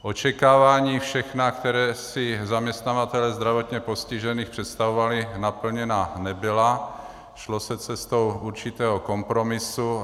Očekávání všechna, která si zaměstnavatelé zdravotně postižených představovali, naplněna nebyla, šlo se cestou určitého kompromisu.